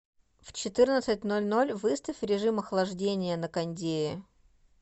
в четырнадцать ноль ноль выставь режим охлаждения на кондее